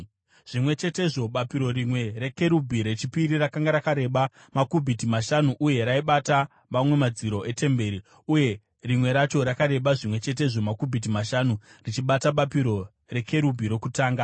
Zvimwe chetezvo bapiro rimwe rekerubhi rechipiri rakanga rakareba makubhiti mashanu uye raibata mamwe madziro etemberi uye rimwe racho rakareba zvimwe chetezvo makubhiti mashanu richibata bapiro rekerubhi rokutanga.